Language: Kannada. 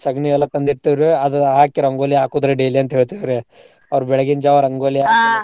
ಸಗಣಿ ಎಲ್ಲಾ ತಂದಿರ್ತೇವ್ ರೀ ಅದು ಹಾಕಿ ರಂಗೋಲಿ ಹಾಕೋದ್ರಿ daily ಅಂತ್ ಹೇಳ್ತಿವ್ ರೀ. ಅವ್ರ ಬೆಳ್ಗಿನ್ ಜಾವ ರಂಗೋಲಿ .